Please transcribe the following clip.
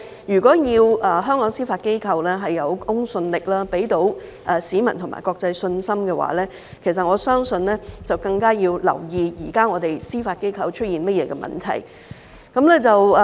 如果想香港司法機構有公信力，能給予市民和國際社會信心，我相信我們更要留意現時司法機構出現了甚麼問題。